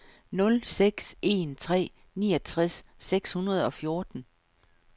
nul seks en tre niogtres seks hundrede og fjorten